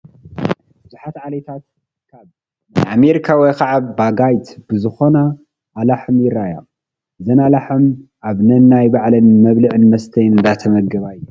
ብዙሓት ዓሌታት ካብ ናይ ኣሜሪካ ወይ ከዓ ብጋይት ዝኾና ኣላሕም ይረአያ፡፡ እዘን ኣላሕም ኣብ ነናይ ባዕለን መብልዕን መስተይን እንዳተመገባ እየን፡፡